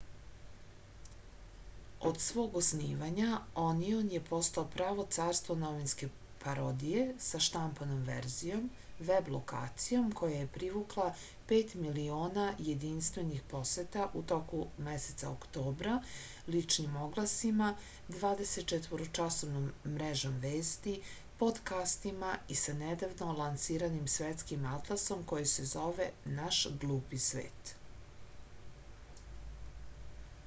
од свог оснивања onion је постао право царство новинске пародије са штампаном верзијом веб локацијом која је привукла 5.000.000 јединствених посета у току месеца октобра личним огласима 24-часовном мрежом вести подкастима и са недавно лансираним светским атласом који се зове наш глупи свет